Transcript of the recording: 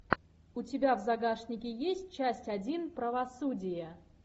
у тебя в загашнике есть часть один правосудие